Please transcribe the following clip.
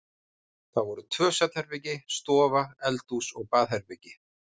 Það voru tvö svefnherbergi, stofa, eldhús og baðherbergi.